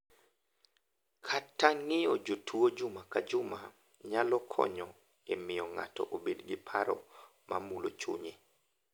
Kata ng’iyo jotuwo juma ka juma nyalo konyo e miyo ng’ato obed gi paro ma mulo chunye.